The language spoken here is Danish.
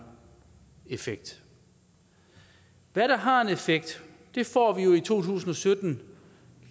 effekt hvad der har en effekt får vi jo i to tusind og sytten